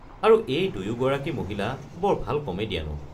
আৰু এই দুয়োগৰাকী মহিলা বৰ ভাল কমেডিয়ানো।